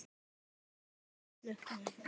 Konan leit snöggt á hann.